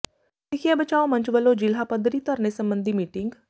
ਸਿੱਖਿਆ ਬਚਾਓ ਮੰਚ ਵੱਲੋਂ ਜ਼ਿਲ੍ਹਾ ਪੱਧਰੀ ਧਰਨੇ ਸਬੰਧੀ ਮੀਟਿੰਗ